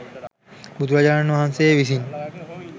බුදුරජාණන් වහන්සේ විසින්